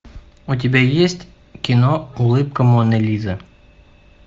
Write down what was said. у тебя есть кино улыбка моны лизы